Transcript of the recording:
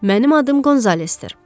Mənim adım Qonzalesdir.